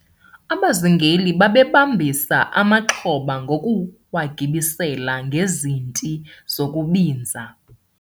abazingeli babebambisa amaxhoba ngokuwagibisela ngezinti zokubinza